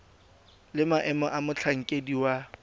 le maemo a motlhankedi wa